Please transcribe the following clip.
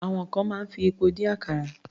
Àwọn kan máa ń fi epo dín àkàrà.